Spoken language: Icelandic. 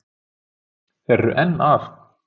Þeir eru enn að